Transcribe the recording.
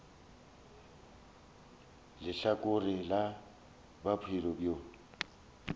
le lehlakore la bophelo bjo